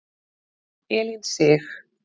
Elín Sig.